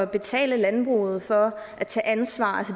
betale landbruget for at tage ansvar